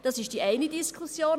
Das ist die eine Diskussion.